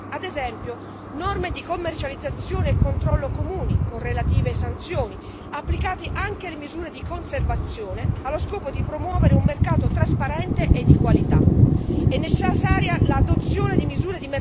Per questo motivo sono necessarie misure mirate ad esempio, norme di commercializzazione e controllo comuni, con relative sanzioni, applicate anche alle misure di conservazione, allo scopo di promuovere un mercato trasparente e di qualità.